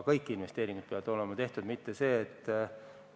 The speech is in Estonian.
Kõik investeeringud peavad olema tehtud!